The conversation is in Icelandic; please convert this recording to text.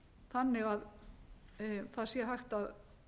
þannig að það sé hægt að